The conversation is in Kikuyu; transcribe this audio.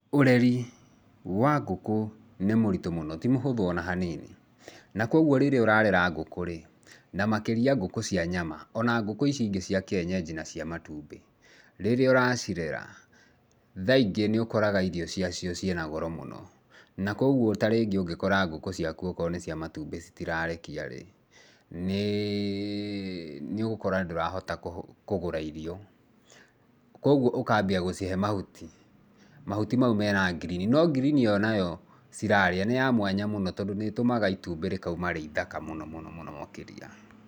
Ũreri, wa ngũkũ, nĩ mũritũ mũno, ti mũhũthũ ona hanini. Na kuoguo rĩrĩa ũrarera ngũkũ-rĩ, na makĩria ngũkũ cia nyama, ona ngũkũ ici ingĩ cia kienyenji na cia matumbĩ, rĩrĩa ũracirera, ,thaa ingĩ nĩũkoraga irio cia cio ciĩnagoro mũno, na kuoguo tarĩngĩ ũngĩkora ngũkũ ciaku akorũo nĩ cia matumbĩ citirarekia-rĩ, nĩĩĩ, nĩũgũkora ndũrahota kũgũra irio, kuoguo ukambia gũcihe mahuti, mahuti mau mena ngirini, no ngirini ĩyo nayo, cirarĩa, nĩya mwanya mũno, tondũ nĩtũmaga itumbĩ rĩkauma rĩithaka mũno mũno mũno makĩria.